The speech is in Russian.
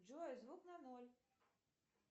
джой звук на ноль